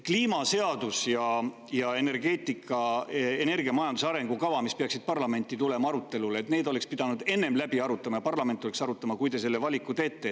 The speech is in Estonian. Kliimaseaduse ja energiamajanduse arengukava, mis peaksid tulema parlamenti arutelule, oleks pidanud ennem läbi arutama ja seda peaks arutama parlament, kui te selle valiku teete.